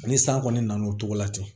Ani san kɔni nana o cogo la ten